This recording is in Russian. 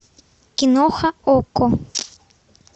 киноха окко